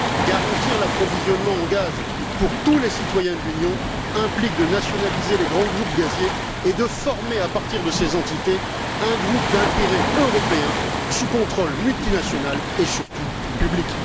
Garantir l'approvisionnement en gaz pour tous les citoyens de l'Union implique de nationaliser les grands groupes gaziers et de former, à partir de ces entités, un groupe d'intérêt européen sous contrôle multinational et surtout public.